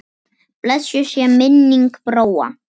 Blessuð sé minning Bróa.